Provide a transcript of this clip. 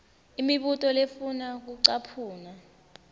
imibuto lefuna kucaphuna